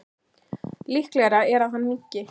Líklegra er að hann minnki.